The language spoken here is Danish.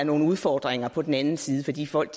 nogle udfordringer på den anden side fordi folk